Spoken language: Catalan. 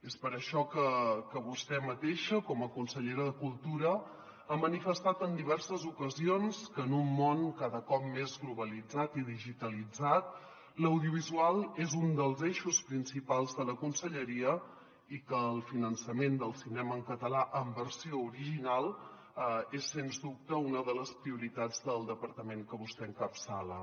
és per això que vostè mateixa com a consellera de cultura ha manifestat en di·verses ocasions que en un món cada cop més globalitzat i digitalitzat l’audiovisual és un dels eixos principals de la conselleria i que el finançament del cinema en ca·talà en versió original és sens dubte una de les prioritats del departament que vostè encapçala